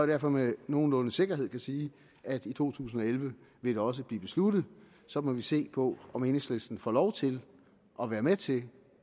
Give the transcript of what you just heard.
derfor med nogenlunde sikkerhed kan sige at i to tusind og elleve vil det også blive besluttet så må vi se på om enhedslisten får lov til at være med til